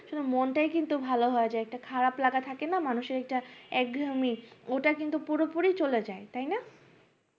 আসলে মনটাই কিন্তু ভালো হয়েযায় খারাপ লাগাটা থাকেনা মানুষের একটা একঘেয়ামি ওটা কিন্তু পুরোপুরি চলে যাই তাইনা